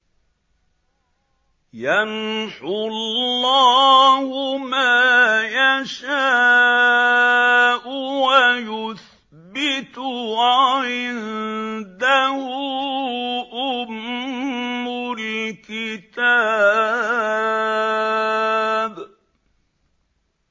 يَمْحُو اللَّهُ مَا يَشَاءُ وَيُثْبِتُ ۖ وَعِندَهُ أُمُّ الْكِتَابِ